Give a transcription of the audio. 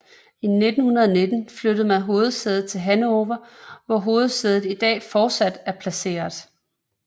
I 1919 flyttede man hovedsædet til Hannover hvor hovedsædet i dag fortsat er placeret